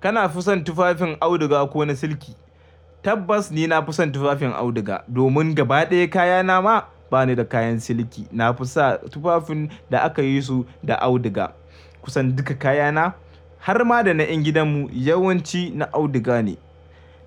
Kana fi son tufafin auduga ko na silki? Tabbas ni na fi son tufafin auduga domin gaba ɗaya kayana ma ba ni da kayan silki. Na fi sa tufafin da aka yi su da auduga. Kusan duka kayana har ma da na ƴan gidanmu yawanci na auduga ne,